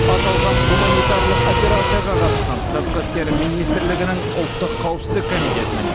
аталған гуманитарлық операцияға қатысқан сыртқы істер министрлігінің ұлттық қауіпсіздік комитетінің